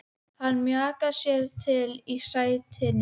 Hann mjakar sér til í sætinu.